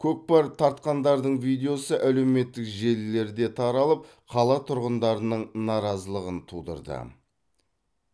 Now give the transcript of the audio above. көкпар тартқандардың видеосы әлеуметтік желілерде таралып қала тұрғындарының наразылығын тудырды